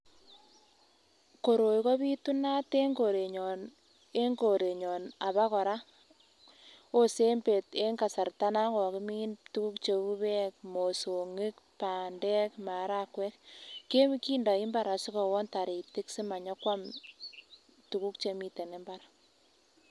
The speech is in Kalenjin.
Koroi kobitunat en korenyon, en korenyon abokora wosee en kasarta nakokimin tukuk cheu bek, mosong'ik, bandek ,marakwek kindoi mbar asikowon toritik simanyokwam tukuk chemiten mbar.